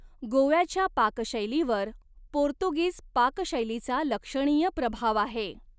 गोव्याच्या पाकशैलीवर पोर्तुगीज पाकशैलीचा लक्षणीय प्रभाव आहे.